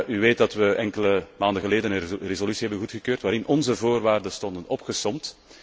U weet dat we enkele maanden geleden een resolutie hebben goedgekeurd, waarin onze voorwaarden stonden opgesomd.